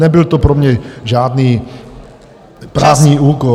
Nebyl to pro mě žádný právní úkon.